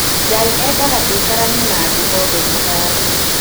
Ngai endaga tũikaranie na andũ othe na thayũ